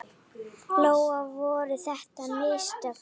Lóa: Voru þetta mistök?